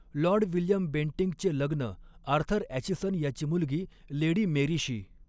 Lord William बेंटिंकचे लग्न Arthur Aitchison याची मुलगी लेडी मेरीशी